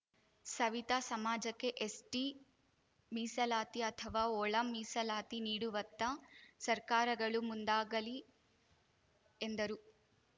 ಸವಿತಾ ಸಮಾಜಕ್ಕೆ ಎಸ್‌ಟಿ ಮೀಸಲಾತಿ ಅಥವಾ ಒಳ ಮೀಸಲಾತಿ ನೀಡುವತ್ತ ಸರ್ಕಾರಗಳು ಮುಂದಾಗಲಿ ಎಂದರು